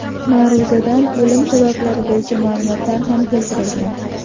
Ma’ruzada o‘lim sabablari bo‘yicha ma’lumotlar ham keltirilgan.